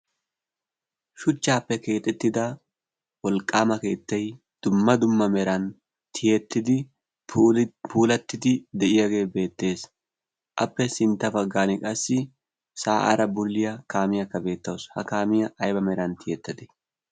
shuchchaappe keexettida wolqqaama keettai dumma dumma meran tiyettidi puulattidi de7iyaagee beettees. appe sintta baggan qassi saa7aara bulliya kaamiyaakka beettawusu. ha kaamiyaa aiba meran tiyettade?